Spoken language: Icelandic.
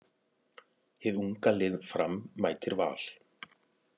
Hið unga lið Fram mætir Val.